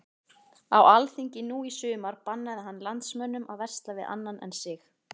Á alþingi nú í sumar bannaði hann landsmönnum að versla við annan en sig.